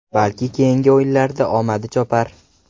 Balki keyingi o‘yinlarda omadi chopar.